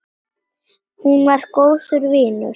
Hún var góður vinur.